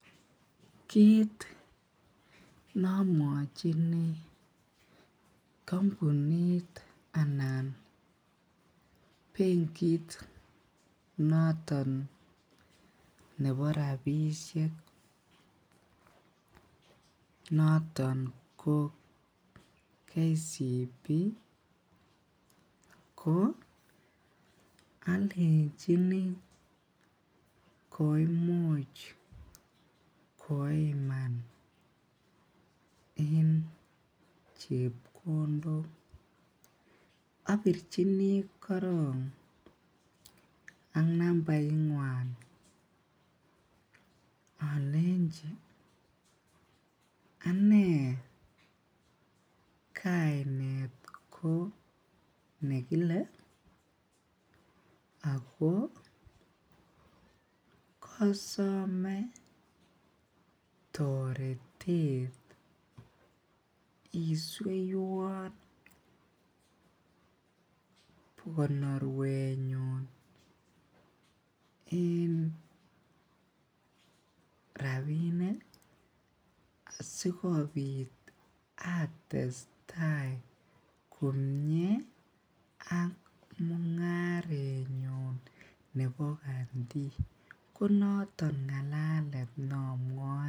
Kit neamwochini kampunit anan bengiit noton nebo rabisiek noton ko Kenya commercial Bank ko alenchini koimuch koiman en chebkondok apirchini koron ak nambarit nyuan alenchi ane kainet ko nekile ako kasome toretet isueiwan konorwet nyun en rabinik asikobit atestai komie ak mung'aret nyuun nebo Kandi ko naton ng'alalet neamwae.